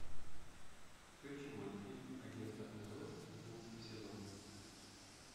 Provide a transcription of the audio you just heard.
включи мультфильм агентство нлс одиннадцатый сезон